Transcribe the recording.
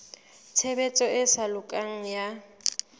tshebediso e sa lokang ya